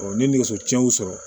ne nɛgɛso tiɲɛnw sɔrɔ